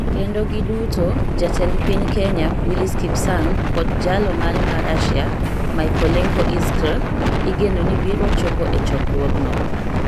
kendo giduto jatend piny Kenya Willis Kipsang kod Jalo mare ma Russia Mykolenko Izkr igeno ni biro chopo e chokruogno.